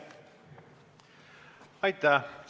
Aitäh!